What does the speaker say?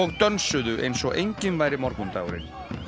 dönsuðu eins og enginn væri morgundagurinn